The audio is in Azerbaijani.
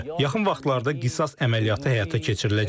Yaxın vaxtlarda qisas əməliyyatı həyata keçiriləcək.